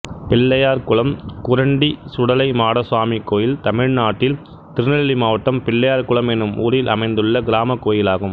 பிள்ளையார்குளம் குரண்டி சுடலைமாடசாமி கோயில் தமிழ்நாட்டில் திருநெல்வேலி மாவட்டம் பிள்ளையார்குளம் என்னும் ஊரில் அமைந்துள்ள கிராமக் கோயிலாகும்